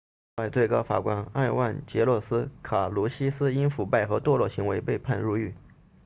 此外最高法官埃万杰洛斯卡卢西斯因腐败和堕落行为被判入狱